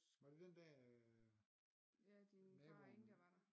Var det den dag øh naboen